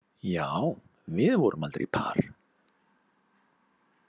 Já, við vorum aldrei par.